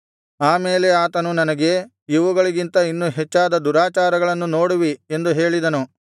ಆಮೇಲೆ ಆತನು ನನಗೆ ಇವುಗಳಿಗಿಂತ ಇನ್ನೂ ಹೆಚ್ಚಾದ ದುರಾಚಾರಗಳನ್ನು ನೋಡುವಿ ಎಂದು ಹೇಳಿದನು